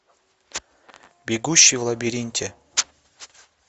бегущий в лабиринте